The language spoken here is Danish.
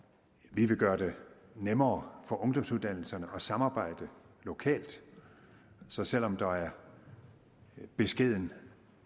vi vil gøre det nemmere for ungdomsuddannelserne at samarbejde lokalt så selv om der er beskeden